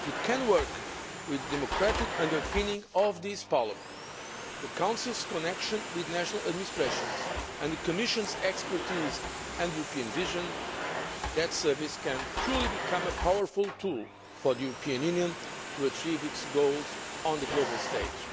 If it can work with the democratic underpinning of this Parliament, the Council's connection with national administrations and the Commission's expertise and European vision, that service can truly become a powerful tool for the European Union to achieve its goals on the global stage.